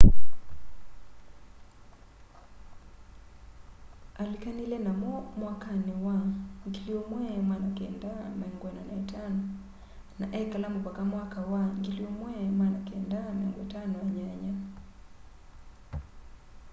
alĩkanĩle namo mwakanĩ wa 1945 na ekala mũvaka mwaka wa 1958